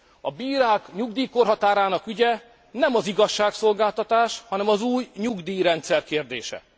A bírák nyugdíjkorhatárának ügye nem az igazságszolgáltatás, hanem az új nyugdíjrendszer kérdése.